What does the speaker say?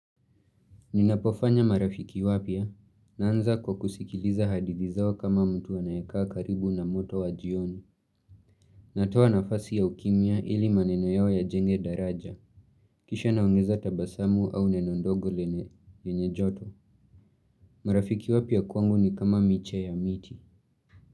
Ninapofanya marafiki wapya, naanza kwa kusikiliza hadidhi zao kama mtu anaekaa karibu na moto wa jioni. Natoa nafasi ya ukimya ili maneno yao yajenge daraja. Kisha naongeza tabasamu au neno ndogo lenye, lenye joto. Marafiki wapia kwangu ni kama miche ya miti.